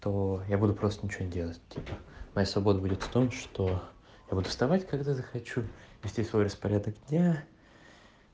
то я буду просто ничего не делать моя свобода будет в том что я буду вставать когда захочу вести свой распорядок дня